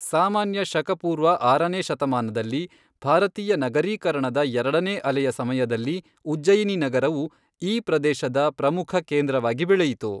ಸಾಮಾನ್ಯ ಶಕ ಪೂರ್ವ ಆರನೇ ಶತಮಾನದಲ್ಲಿ, ಭಾರತೀಯ ನಗರೀಕರಣದ ಎರಡನೇ ಅಲೆಯ ಸಮಯದಲ್ಲಿ ಉಜ್ಜಯಿನಿ ನಗರವು ಈ ಪ್ರದೇಶದ ಪ್ರಮುಖ ಕೇಂದ್ರವಾಗಿ ಬೆಳೆಯಿತು.